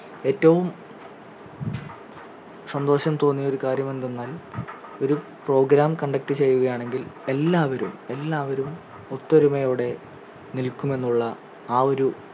ഏറ്റവും സന്തോഷം തോന്നിയ ഒരു കാര്യം എന്തെന്നാൽ ഒരു program conduct ചെയ്യുകയാണെങ്കിൽ എല്ലാവരും എല്ലാവരും ഒത്തൊരുമയോടെ നിൽക്കുമെന്നുള്ള ആ ഒരു